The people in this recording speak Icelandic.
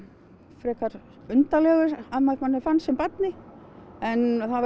frekar undarlegur að manni fannst sem barni en